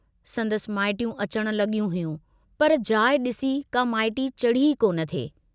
संदसि माइटियूं अचण लग॒यूं हुयूं, पर जाइ डिसी का माइटी चढ़ी ई कोन थे।